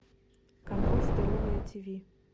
канал здоровое тиви